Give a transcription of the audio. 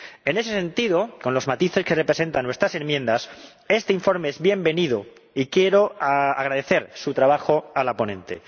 En ese sentido, con los matices que representan nuestras enmiendas, este informe es bienvenido y quiero agradecer su trabajo a la ponente.